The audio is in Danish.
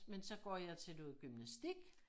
Men så går jeg til gymnastik